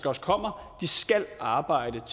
også kommer skal arbejde